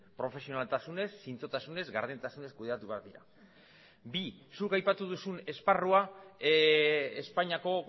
profesionaltasunez zintzotasunez gardentasunez kudeatu behar dira bi zuk aipatu duzun esparrua espainiako